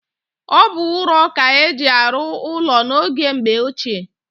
Ọ bụ ụrọ ka-eji arụ ụlọ n'oge mgbe ochie